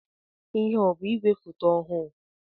Ihé a ọ bụ igwe foto ọhụụ?